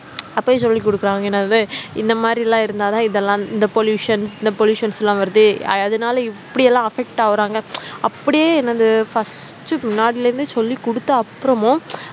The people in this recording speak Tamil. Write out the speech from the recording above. அப்பவே சொல்லிக் குடுக்கிறாங்க என்னது இந்த மாதிரி எல்லாம் இருந்தா தான் இதெல்லாம் இந்த pollution இந்த pollutions லாம் வருது அ அதனால இப்படி எல்லாம் affect ஆகுராங்க அப்படியே என்னது first உ முன்னாடில இருந்தே சொல்லி குடுத்த அப்புறமும்